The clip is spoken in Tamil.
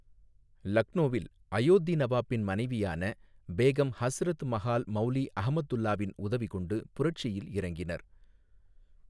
லக்னோவில் அயோத்தி நவாப்பின் மனைவியான பேகம் ஹஸ்ரத் மஹால் மௌலி அஹமத்துல்லாவின் உதவி கொண்டு புரட்சியில் இறங்கினர்.